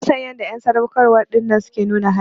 Bana son yanda en sadaukarwa dinnan suke nuna hali.